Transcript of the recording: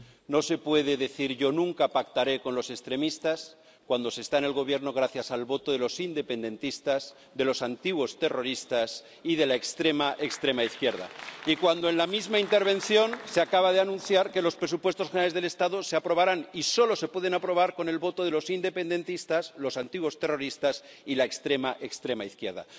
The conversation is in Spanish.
No se puede decir Yo nunca pactaré con los extremistas cuando se está en el Gobierno gracias al voto de los independentistas, de los antiguos terroristas y de la extrema, extrema izquierda, y cuando, en la misma intervención, se acaba de anunciar que los presupuestos generales del Estado se aprobarán —y solo se pueden aprobar— con el voto de los independentistas, los antiguos terroristas y la extrema, extrema izquierda.